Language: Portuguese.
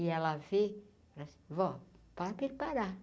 E ela vê Vó, fala para ele parar.